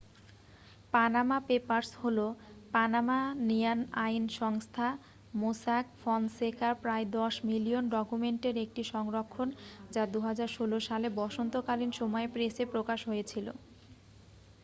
"""Panama papers" হলো Panamanian আইন সংস্থা মোস্যাক ফনসেকার প্রায় দশ মিলিয়ন ডকুমেন্টের একটি সংরক্ষণ যা 2016 সালে বসন্তকালীন সময়ে প্রেসে প্রকাশ হয়েছিল।